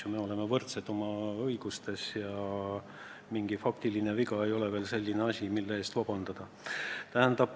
Me oleme võrdsed oma õigustes ja mingi faktiviga ei ole selline asi, mille eest vabandust paluda.